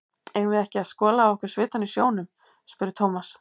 Eigum við ekki að skola af okkur svitann í sjónum? spurði Thomas.